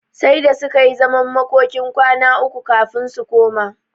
Sai da suka yi zaman makokin kwana uku kafin su koma.